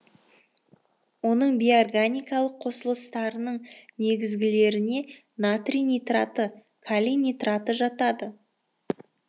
оның бейорганикалық қосылыстарының негізгілеріне натрий нитраты калий нитраты жатады